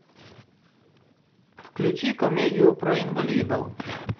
включи комедию про инвалидов